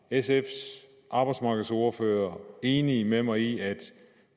sfs arbejdsmarkedsordfører enig med mig i at